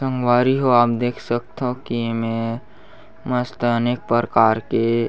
संगवारी हो आप देख सकथो की ए में मस्त अनेक प्रकार के --